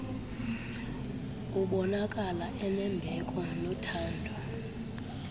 ubonakala enembeko nothando